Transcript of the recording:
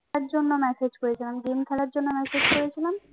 জন্য massage করেছিলাম game খেলার জন্য massage করেছিলাম